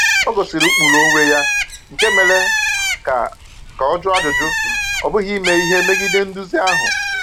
O gosiri ụkpụrụ onwe ya nke mere ka ka ọ jụọ ajụjụ, ọ bụghị ime ihe megide nduzi ahụ.